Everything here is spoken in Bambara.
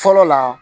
Fɔlɔ la